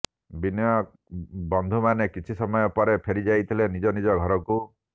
ବିନୟ ବନ୍ଧୁମାନେ କିଛି ସମୟ ପରେ ଫେରିଯାଇଥିଲେ ନିଜ ନିଜ ଘରକୁ